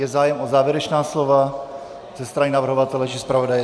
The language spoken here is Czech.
Je zájem o závěrečná slova ze strany navrhovatele či zpravodaje?